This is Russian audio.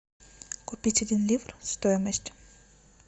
купить один ливр стоимость